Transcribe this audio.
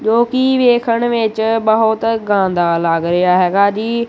ਜੋ ਕੀ ਵੇਖਣ ਵਿੱਚ ਬਹੁਤ ਗਾਂਦਾ ਲੱਗ ਰਿਹਾ ਹੈਗਾ ਜੀ।